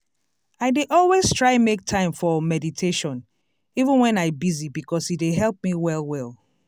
i dey always try make time for meditation even wen i busy because e dey help me well well.